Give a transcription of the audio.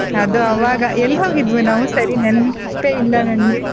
ಅದು ಅವಾಗ ಎಲ್ ಹೋಗಿದ್ವಿ ನಾವು ಸರಿ ನೆನ್ಪೆ ಇಲ್ಲ ನಂಗೆ.